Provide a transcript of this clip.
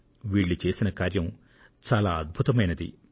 వీళ్లు చేసిన కార్యం చాలా అద్భుతమైనటువంటిది